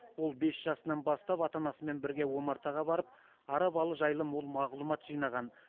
ол бес жасынан бастап ата анасымен бірге омартаға барып ара балы жайлы мол мағлұмат жинаған